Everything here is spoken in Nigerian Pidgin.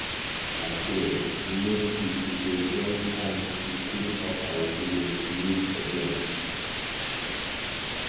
Abeg, next week we go join hands do cleanup make our village neat again.